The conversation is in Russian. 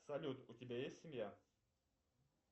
салют у тебя есть семья